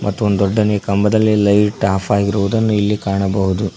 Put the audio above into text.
ಮತ್ತು ಒಂದು ದೊಡ್ಡನೆ ಕಂಬದಲ್ಲಿ ಲೈಟ್ ಆಫ್ ಆಗಿರುವುದನ್ನು ಇಲ್ಲಿ ಕಾಣಬಹುದು.